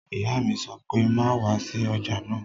Ìyá mi sọ pé "má wá sí ọjà náà!"